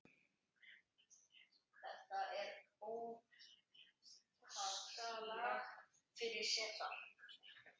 Þetta er óskalag fyrir Sesar.